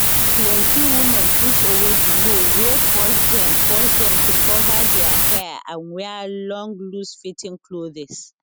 plenti women push away di law wey force dem force dem to cover dia hair and wear long loosefitting clothes